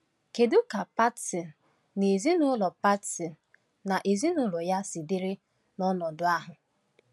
Kedu ka Patson na ezinụlọ Patson na ezinụlọ ya si dịrị n’ọnọdụ ahụ?